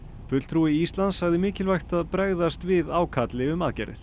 fulltrúi Íslands sagði mikilvægt að bregðast við ákalli um aðgerðir